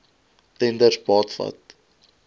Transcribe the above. tenders baat vind